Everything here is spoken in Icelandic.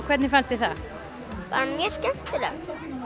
hvernig fannst þér það bara mjög skemmtilegt